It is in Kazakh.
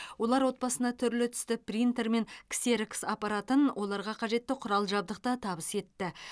олар отбасына түрлі түсті принтер мен ксерокс аппаратын оларға қажетті құрал жабдықты табыс етті